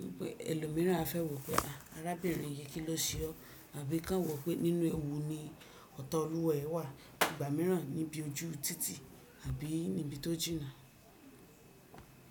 wípé ẹlòmíràn á fẹ́ wo pé àrábìnrin yìí kí n ló ṣe o, àbí kí wọ́n wò pé nínú ewu ni ọ̀ta olúwa rẹ wà. Ìgbà mìíràn níbi ojú títì àbí níbi tó jìnnà.